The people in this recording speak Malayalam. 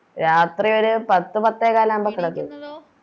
രാത്രി ഒര് പത്ത് പത്തേകാലാവുമ്പോ കെടക്കും